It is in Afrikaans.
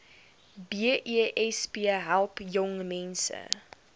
besp help jongmense